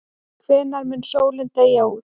Hvenær mun sólin deyja út?